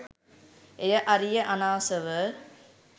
එය අරිය අනාසව